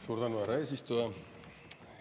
Suur tänu, härra eesistuja!